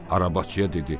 Arabacıya dedi: